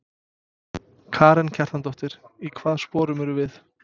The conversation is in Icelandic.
Karen Kjartansdóttir: Í hvaða sporum erum við?